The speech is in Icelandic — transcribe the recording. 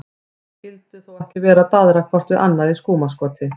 Þau skyldu þó ekki vera að daðra hvort við annað í skúmaskoti?